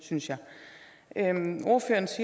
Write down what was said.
synes det er